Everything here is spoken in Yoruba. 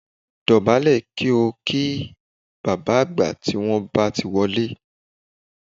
Dọ̀bálẹ̀ kí bàbá àgbà tí wọ́n bá ti wọlé